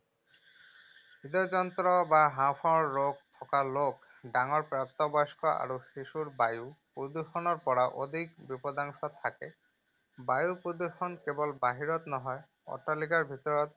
হৃদয়যন্ত্ৰ বা হাঁওফাঁওৰ ৰোগ থকা লোক, ডাঙৰ প্ৰাপ্তবয়স্ক আৰু শিশুৰ বায়ু প্ৰদূষণৰ পৰা অধিক বিপদাশংকা থাকে। আৰু বায়ু প্ৰদূষণ কেৱল বাহিৰত নহয়, অট্টালিকাৰ ভিতৰৰ